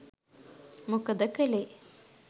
මොකද කළේ?